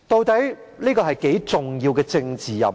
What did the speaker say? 這是何等重要的政治任務？